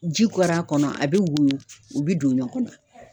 Ji kɔɔr'a kɔnɔ a bɛ woyo o bi don ɲɔgɔn na.